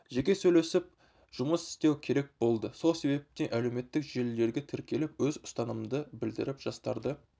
жеке сөйлесіп жұмыс істеу керек болды сол себептен әлеуметтік желілерге тіркеліп өз ұстанымымды білдіріп жастарды